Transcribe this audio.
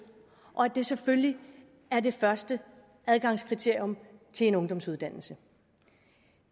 og at det selvfølgelig er det første adgangskriterium til en ungdomsuddannelse